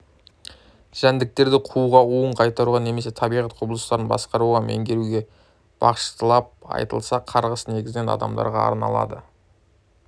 жәндіктерді қууға уын қайтаруға немесе табиғат құбылыстарын басқаруға меңгеруге бағышталып айтылса қарғыс негізінен адамдарға арналады